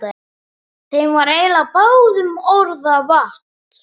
Þeim var eiginlega báðum orða vant.